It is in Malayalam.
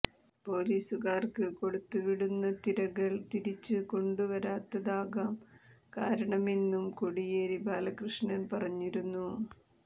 പൊലീസുകാർക്ക് കൊടുത്തുവിടുന്ന തിരകൾ തിരിച്ച് കൊണ്ടുവരാത്തതാകാം കാരണമെന്നും കോടിയേരി ബാലകൃഷ്ണൻ പറഞ്ഞിരുന്നു